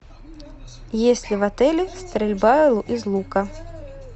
есть ли в отеле стрельба из лука